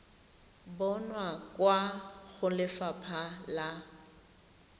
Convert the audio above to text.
bonwa kwa go lefapha la